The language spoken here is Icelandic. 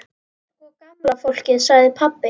Sko gamla fólkið sagði pabbi.